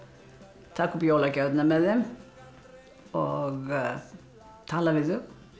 taka upp jólagjafirnar með þeim og tala við þau